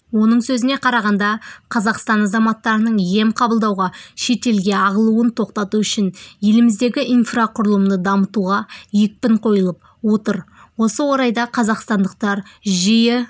оның сөзіне қарағанда қазақстан азаматтарының ем қабылдауға шетелге ағылуын тоқтату үшін еліміздегі инфрақұрылымды дамытуға екпін қойылып отыр осы орайда қазақстандықтар жиі